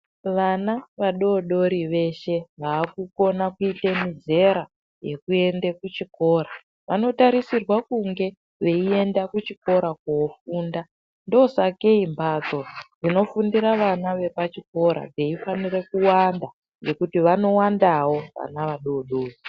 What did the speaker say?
Vana vadodori veshe vakukona kuita mizera yekuende kuchikora vanotarisirwa kunge veienda kuchikora kofunda ndosakei mbatso dzinofundira vana vepachikora dzeifanira kuwanda ngekuti vanowandawo vana vadodori.